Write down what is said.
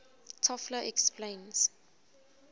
toffler explains